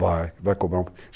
Vai, vai cobrar um preço.